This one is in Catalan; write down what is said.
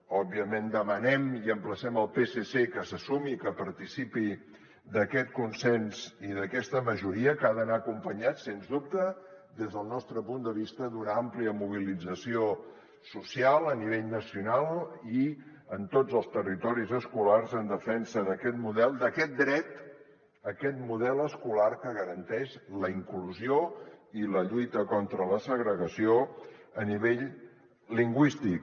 òbviament demanem i emplacem el psc que se sumi i que participi d’aquest consens i d’aquesta majoria que han d’anar acompanyats sens dubte des del nostre punt de vista d’una àmplia mobilització social a nivell nacional i en tots els territoris escolars en defensa d’aquest model d’aquest dret a aquest model escolar que garanteix la inclusió i la lluita contra la segregació a nivell lingüístic